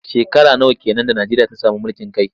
Shekara nawa ke nan da Najeriya ta sami mulkin kai?